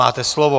Máte slovo.